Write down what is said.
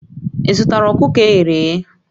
Ị zụtara ọkụkọ e ghere eghe?